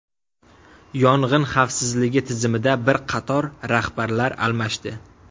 Yong‘in xavfsizligi tizimida bir qator rahbarlar almashdi.